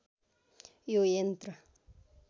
यो यन्त्र